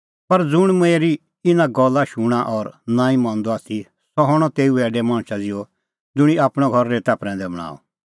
पर ज़ुंण मेरी इना गल्ला शूणां और नांईं मंदअ आथी सह हणअ तेऊ ऐडै मणछा ज़िहअ ज़ुंणी आपणअ घर रेता प्रैंदै बणांअ